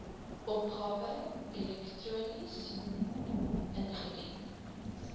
opgawe elektronies ingedien